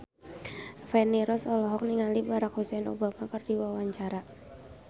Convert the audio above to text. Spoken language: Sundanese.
Feni Rose olohok ningali Barack Hussein Obama keur diwawancara